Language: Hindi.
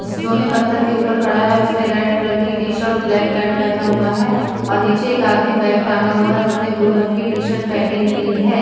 जिस जो ने पत्थर के ऊपर खड़ा है उसने रेड रंग की टी शर्ट और ब्लैक पैंट पेहना हुआ है और नीचे एक आदमी बैग टंगा हुआ है जिसने ब्लू रंग की शर्ट पेहनी हुई हैं।